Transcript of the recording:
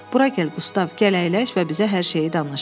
Bura gəl Qustav, gəl əyləş və bizə hər şeyi danış.